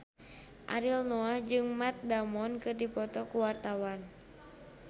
Ariel Noah jeung Matt Damon keur dipoto ku wartawan